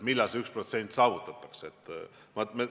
Millalgi see 1% saavutatakse.